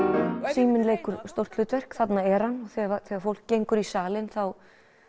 síminn leikur stórt hlutverk þarna er hann þegar fólk gengur í salinn þá